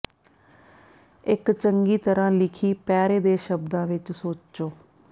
ਇਕ ਚੰਗੀ ਤਰ੍ਹਾਂ ਲਿਖੀ ਪੈਰੇ ਦੇ ਸ਼ਬਦਾਂ ਵਿਚ ਸੋਚੋ